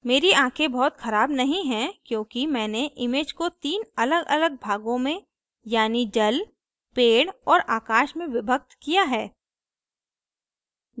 मेरी आँखें बहुत खराब नहीं है क्योंकि मैंने image को तीन अलगअलग भागों में यानी जल पेड़ और आकाश में विभक्त किया है